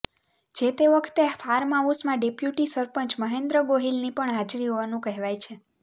જે તે વખતે ફાર્મહાઉસમાં ડેપ્યુટી સરપંચ મહેન્દ્ર ગોહિલની પણ હાજરી હોવાનું કહેવાય છે